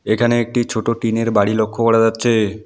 এখানে একটি ছোট টিন -এর বাড়ি লক্ষ করা যাচ্ছে।